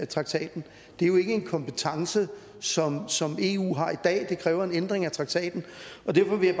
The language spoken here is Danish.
traktaten det er jo ikke en kompetence som som eu har i dag det kræver en ændring af traktaten derfor vil